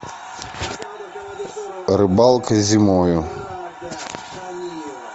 рыбалка зимой